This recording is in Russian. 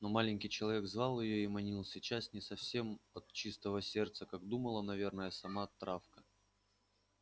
но маленький человек звал её и манил сейчас не совсем от чистого сердца как думала наверно сама травка